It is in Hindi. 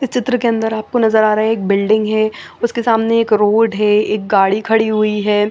इसचित्र के अंदर आपको नजर आ रहा है एक बिल्डिंग है उसके सामने एक रोड है एक गाड़ी खड़ी हुई है।